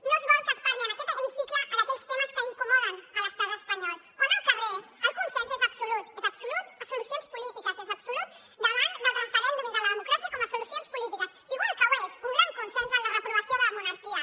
no es vol que es parli en aquest hemicicle d’aquells temes que incomoden l’estat espanyol quan al carrer el consens és absolut és absolut per a solucions polítiques és absolut davant del referèndum i de la democràcia com a solucions polítiques igual que ho és un gran consens per la reprovació de la monarquia